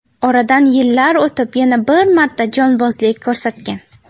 Oradan yillar o‘tib yana bir marta jonbozlik ko‘rsatgan.